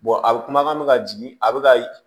a bɛ kumakan bɛ ka jigin a bɛ ka